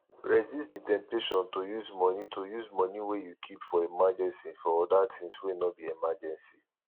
resist di temptation to use money to use money wey you keep for emergency for oda things wey no be emergency